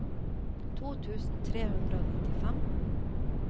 to tusen tre hundre og nittifem